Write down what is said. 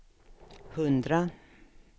hundra